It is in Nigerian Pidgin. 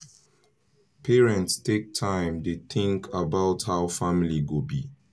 parents take time dey think about how family go be